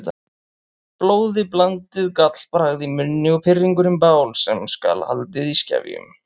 Blóðiblandið gallbragð í munni og pirringurinn bál sem skal haldið í skefjum.